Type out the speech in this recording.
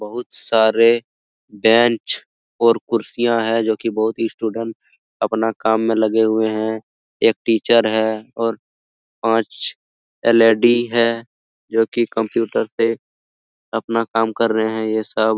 बहुत सारे बेंच और कुर्सियां है जोकि बोहोत ही स्टूडेंट अपना काम में लगे हुए हैं । एक टीचर है और पांच एलएडी हैं जो की कंप्यूटर पे अपना काम कर रहे हैं ये सब ।